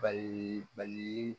Bali bali